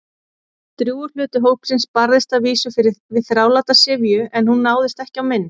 Drjúgur hluti hópsins barðist að vísu við þráláta syfju- en hún náðist ekki á mynd.